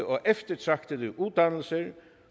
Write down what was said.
og eftertragtede uddannelser